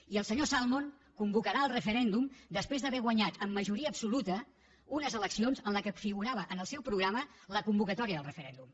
i el senyor salmond convocarà el referèndum després d’haver guanyat amb majoria absoluta unes eleccions en les quals figurava en el seu programa la convocatòria del referèndum